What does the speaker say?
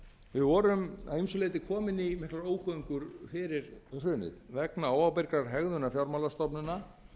við vorum að ýmsu leyti komin í ógöngur fyrir hrunið vegna óábyrgrar hegðunar fjármálastofnana